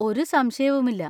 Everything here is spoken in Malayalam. ഒരു സംശയവുമില്ല.